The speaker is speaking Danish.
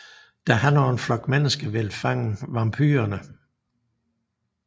Da han og en flok menesker ville fange vampyrene